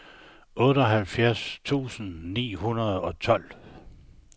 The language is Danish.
otteoghalvfjerds tusind ni hundrede og tolv